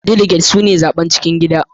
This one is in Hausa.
Daliget suna zaɓen cikin gida.